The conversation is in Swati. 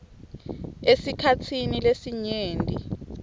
esikhatsini lesinyenti